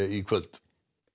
í kvöld